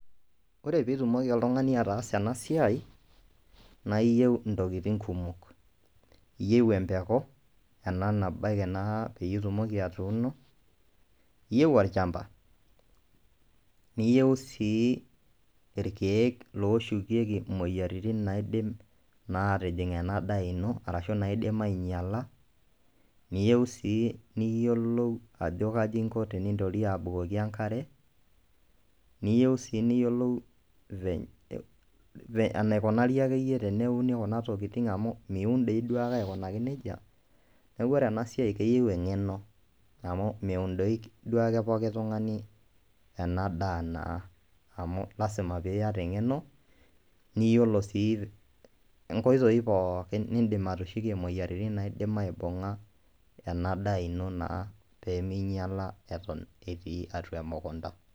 Ore peeitumoli oltung'ani ataasa ena siai, naa iyieu intokitin kumok iyieu empeku, ena nabaiki naa peitumoki atuuno iyieu olchamba, niyieu sii irkiek looborieki imoyiaritin naidim atijing' ena daa ino ashuu naidim ainyiala niyieu sii niyiolou ajo kaji inko tenintorie abukoki enkare niyieu sii niyiolou enaikunari akeyie teneuni kuna tokitin amu miun dii duo akeyie akunaki nejia neeku ore ena siai keyieu eng'eno amu meun doi pooki tung'ani enaa naa amu lazima piata eng'eno niyiolo sii inkoitoi pookin nindiim atushukie imoyiaritin naidim aibung'a ena daa ino naa pee iminyiala eton etii emukunta.